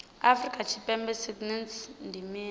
afrika tshipembe sagnc ndi mini